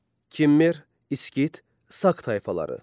Kimmer, İskit, Sak tayfaları.